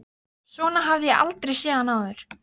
Svona hafði ég aldrei séð hann áður.